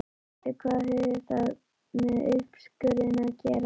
Bíddu hvað hefur það með uppskurðinn að gera?